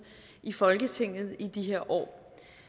i folketinget i de her år